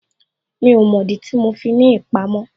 Mi ò mọ̀ dí tí mi ò fi ní ìpamọ́